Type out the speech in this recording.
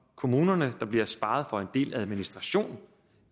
kommunerne der bliver sparet for en del administration